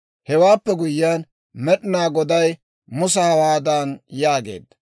Hewaappe guyyiyaan, Med'inaa Goday Musa hawaadan yaageedda;